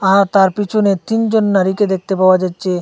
আর তার পিছনে তিনজন নারীকে দেখতে পাওয়া যাচ্ছে।